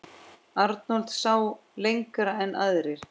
Arnold sá lengra en aðrir.